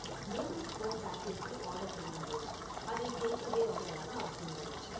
noodles one பேக்கிற்கு order செய்யுங்கள் அதை டேக்அவே ஆர்டராக ஆக்குங்கள்